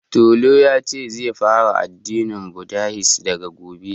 Tolu yace zai fara addinin budahisim daga gobe